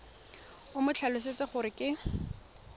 o mo tlhalosetse gore ke